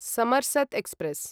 समर्सत express